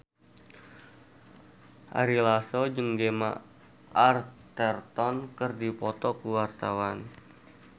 Ari Lasso jeung Gemma Arterton keur dipoto ku wartawan